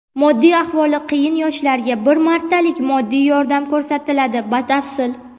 Moddiy ahvoli qiyin yoshlarga bir martalik moddiy yordam ko‘rsatiladi Batafsil.